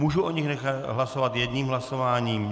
Mohu o nich nechat hlasovat jedním hlasováním?